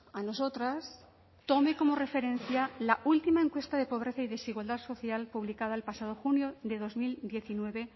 a nosotras tome como referencia la última encuesta de pobreza y desigualdad social publicada el pasado junio de dos mil diecinueve